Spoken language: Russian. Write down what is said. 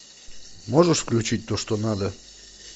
можешь включить то что надо